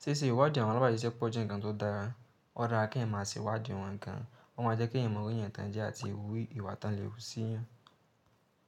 Sí ṣè ìwádi àwọn alábàáṣiṣẹpọ̀ jẹ́ nǹkan tó dára, ó da kí ẹ ma ṣe ìwádì wọ́n gan, ó máa jẹ́ kí ẹ mọ òwe èèyàn tán jẹ àti ìwú ìwà tán lè hú sí ì ẹ.